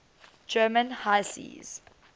german high seas